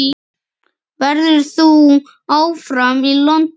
Verður þú áfram í London?